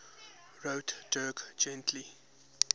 wrote dirk gently's